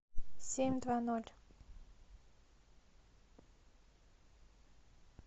семь два ноль